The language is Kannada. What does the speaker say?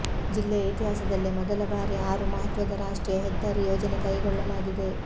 ಜಿಲ್ಲೆಯ ಇತಿಹಾಸದಲ್ಲೇ ಮೊದಲ ಬಾರಿ ಆರು ಮಹತ್ವದ ರಾಷ್ಟ್ರೀಯ ಹೆದ್ದಾರಿ ಯೋಜನೆ ಕೈಗೊಳ್ಳಲಾಗಿದೆ